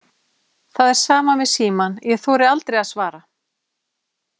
Það er sama með símann, ég þori aldrei að svara.